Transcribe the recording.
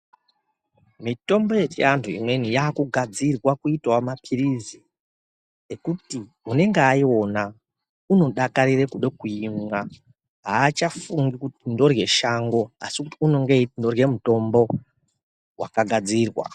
Mitombo yechianthu imweni yaakugadzirwa kuitao mapirizi ekuti unenge aiona unodakarira kuda kuimwa aachafungi kuti ndorye shango asi kuti unenge eiti ndorye mutombo wakagadzirwa.